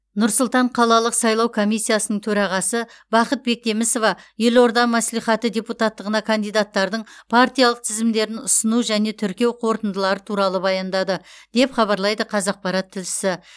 нұр сұлтан қалалық сайлау комиссиясының төрағасы бақыт бектемісова елорда мәслихаты депутаттығына кандидаттардың партиялық тізімдерін ұсыну және тіркеу қорытындылары туралы баяндады деп хабарлайды қазақпарат тілшісі